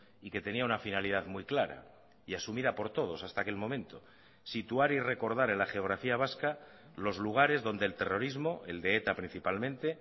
y que tenía una finalidad muy clara y asumida por todos hasta aquel momento situar y recordar en la geografía vasca los lugares donde el terrorismo el de eta principalmente